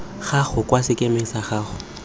gago kwa sekemeng sa gago